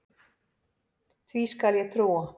Því skal ég trúa